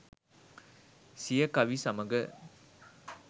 සිය කවි සමඟ